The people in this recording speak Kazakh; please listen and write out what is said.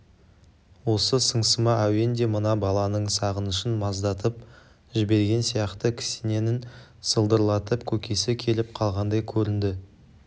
осы сыңсыма әуен де мына баланың сағынышын маздатып жіберген сияқты кісенін сылдырлатып көкесі келіп қалғандай көрінді